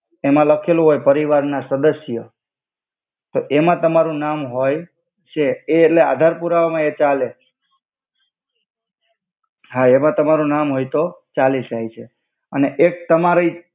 એમા લખેલ હોય પરિવાર ના સદસ્ય તો એમા તમારુ નામ હોય છે એ એટ્લે આધાર પુરાવા મા એ ચાલે હા એમા તમારુ હોય તો ચાલિ જઇ છે અને એક તમારી